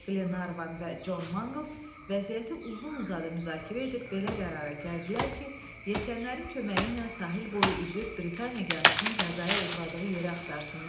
Glenarvan və John Mangles vəziyyəti uzun-uzadı müzakirə edib belə qərara gəldilər ki, yelkənlərin köməyi ilə sahil boyu üzüb Britaniya gəmisinin qəzaya uğradığı yeri axtarsınlar.